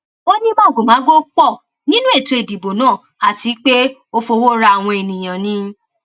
ó ní màgòmágó pọ nínú ètò ìdìbò náà àti pé ó fọwọ ra àwọn ènìyàn ni